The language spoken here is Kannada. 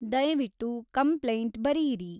ದಯವಿಟ್ಟು ಕಂಪ್ಲೈಂಟ್ ಬರೆಯಿರಿ